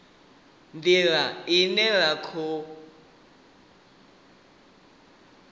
ndila ine ra kona ngayo